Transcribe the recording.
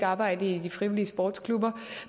arbejde i de frivillige sportsklubber